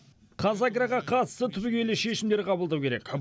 қазагроға қатысты түбегейлі шешімдер қабылдау керек